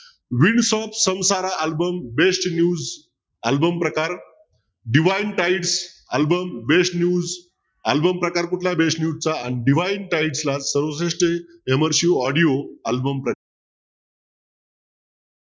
news album प्रकार album प्रकार कुठला best news चा audio album प्रकार